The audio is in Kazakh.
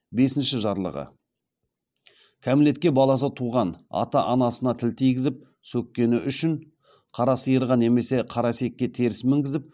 бесінші жарлығы кәмелетке жеткен баласы туған ата анасына тіл тигізіп сөккені үшін қара сиырға немесе қара есекке теріс мінгізіп